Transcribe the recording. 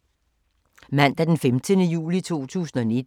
Mandag d. 15. juli 2019